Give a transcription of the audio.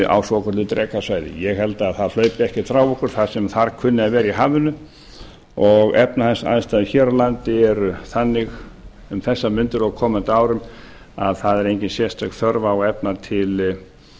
á svokölluðu drekasvæði ég held að það hlaupi ekki frá okkur það sem þar kunni að vera í hafinu og efnahagsaðstæður hér á landi eru þannig um þessar mundir og á koma árum að það er engin sérstök þörf á að